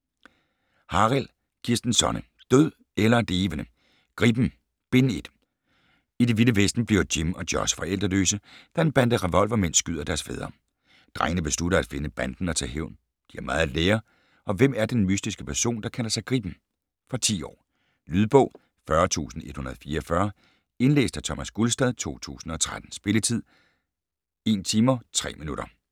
Harild, Kirsten Sonne: Død eller levende!: Gribben: Bind 1 I det vilde vesten bliver Jim og Josh forældreløse, da en bande revolvermænd skyder deres fædre. Drengene beslutter at finde banden og tage hævn. De har meget at lære, og hvem er den mystiske person der kalder sig Gribben? Fra 10 år. Lydbog 40144 Indlæst af Thomas Gulstad, 2013. Spilletid: 1 timer, 3 minutter.